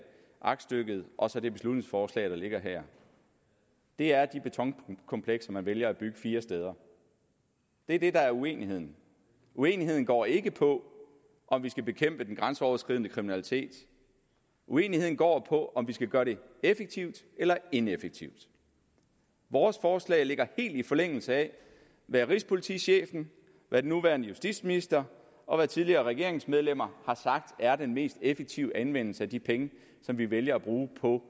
aktstykket og så det beslutningsforslag der ligger her det er de betonkomplekser man vælger at bygge fire steder det er det der er uenigheden uenigheden går ikke på om vi skal bekæmpe den grænseoverskridende kriminalitet uenigheden går på om vi skal gøre det effektivt eller ineffektivt vores forslag ligger helt i forlængelse af hvad rigspolitichefen hvad den nuværende justitsminister og hvad tidligere regeringsmedlemmer har sagt er den mest effektive anvendelse af de penge som vi vælger at bruge på